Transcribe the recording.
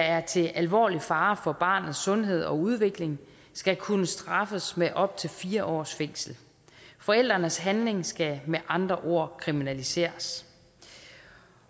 er til alvorlig fare for barnets sundhed og udvikling skal kunne straffes med op til fire års fængsel forældrenes handling skal med andre ord kriminaliseres